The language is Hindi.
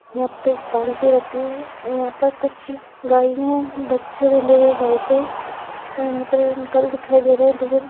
यहाँ पे बाल्टी रखी हुई है यहाँ पे कुछ गइयाँ बच्चे बंधे हुए गाय के और यहाँ पर अंकल दिखाई दे रहे है दूर --